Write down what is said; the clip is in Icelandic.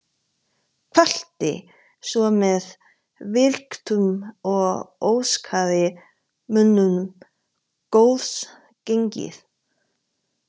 Kvaddi svo með virktum og óskaði mönnum góðs gengis.